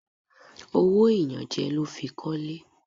Owó ìyànjẹ ló fi kọ́lé.